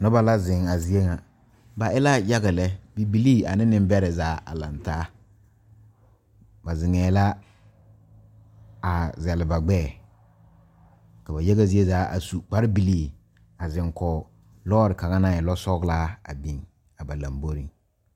Nobɔ la zeŋ a zie ŋa ba e la yaga lɛ bibilii ane neŋbɛrɛ zaa a laŋtaa ba zeŋɛɛ la a zɛle ba gbɛɛ ka ba yaga zie zaa a su kpare bilii a zeŋ kɔg lɔɔre kaŋa naŋ e lɔ sɔglaa a biŋ a ba lamboreŋ.